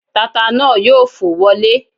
Tata náà yóò fò wọlẹ́